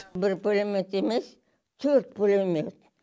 бір пулемет емес төрт пулемет